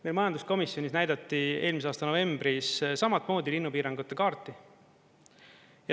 Meil majanduskomisjonis näidati eelmise aasta novembris samatmoodi linnupiirangute kaarti.